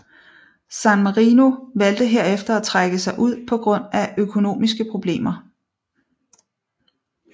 San Marino valgte herefter at trække sig ud på grund af økonomiske problemer